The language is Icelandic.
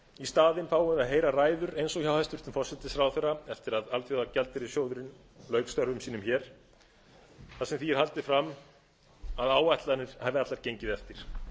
staðinn fáum við að heyra ræður eins og hjá hæstvirtum forsætisráðherra eftir að alþjóðagjaldeyrissjóðurinn lauk störfum sínum hér þar sem því er haldið fram að áætlanir hafi allar gengið eftir